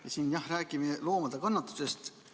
Me siin räägime loomade kannatustest.